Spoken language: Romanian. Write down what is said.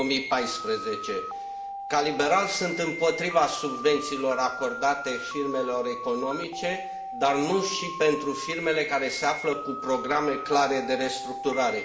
2014. Ca liberal, sunt împotriva subvențiilor acordate firmelor economice, dar nu și pentru firmele care au programe clare de restructurare.